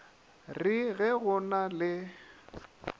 re ge go na le